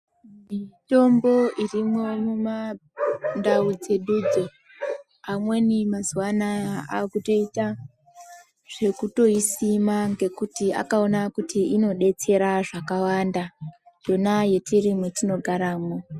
Mitombo irimwo mumandau dzedudzo, amweni mazuwa anaya akutoita zvekutoisima ngekuti akaona kuti inodetsera zvakawanda, yona yetiri mwetinogaramwo.